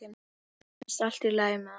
Mér finnst allt í lagi með hann.